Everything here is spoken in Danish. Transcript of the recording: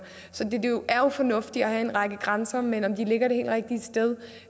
så det er jo fornuftigt at have en række grænser men om de ligger det helt rigtige sted